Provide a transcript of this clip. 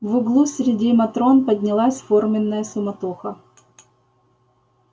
в углу среди матрон поднялась форменная суматоха